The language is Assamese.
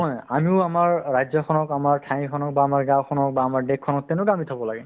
আমিও আমাৰ ৰাজ্যখনক আমাৰ ঠাই খনক বা আমাৰ গাঁওখনক বা আমাৰ দেশ খনক তেনেকুৱা আমি থাকিব লাগে